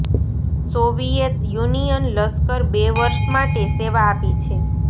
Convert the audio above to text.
Soviet Union લશ્કર બે વર્ષ માટે સેવા આપી છે